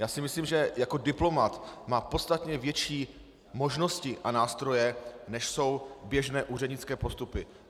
Já si myslím, že jako diplomat má podstatně větší možnosti a nástroje, než jsou běžné úřednické postupy.